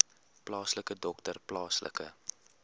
plaaslike dokter plaaslike